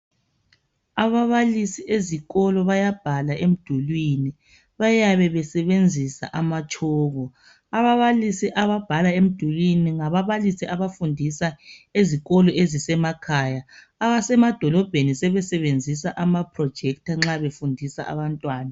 Ababalisi ezikolo bayabhala emdulwini, bayabe besebenzisa amatshoko. Ababalisi ababhala emdulwini ngababalisi abafundisa ezikolo ezisemakhaya, abasemadolobheni sebesebenzisa amaprojector nxa befundisa abantwana.